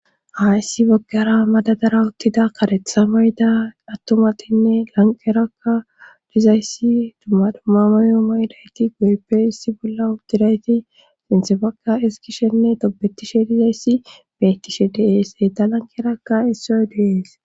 Aissi boggara madadara uttida karetha mayda attomatinne lanqerakka dizayssi dumma dumamayo maydayti guyeppe issi bolla uddidayti sinsefaka eskishenne tobetishe dizayssi beettishe deees e ta lanqerakka issoy deees.